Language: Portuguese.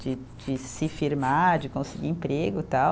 de de se firmar, de conseguir emprego, tal.